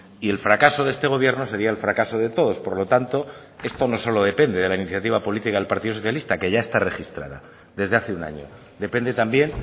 y el fracaso de este gobierno sería el fracaso de todos por lo tanto esto no solo depende de la iniciativa política del partido socialista que ya está registrada desde hace un año depende también